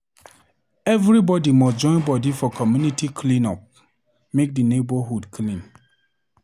Everybody must joinbody for community clean-up make di neighborhood clean.